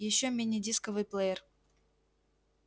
ещё мини-дисковый плеер